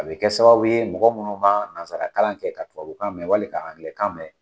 A bɛ kɛ sababu ye mɔgɔ munnu ma nansara kalan kɛ ka tubabukan mɛn wali ka Angilai kan mɛn.